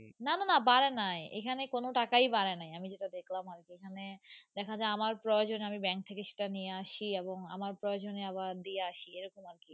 না না না বাড়া নাই এখানে কোনো টাকাই বাড়া নাই আমি যেটা দেখলাম আমি তো এখানে দেখা যাই আমার প্রয়জনে আমি Bank থাকে নিয়েআসি এবং আমার প্রয়জনে আবার দিয়ে আসি এ রকম আর কি।